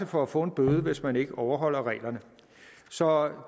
for at få en bøde hvis man ikke overholder reglerne så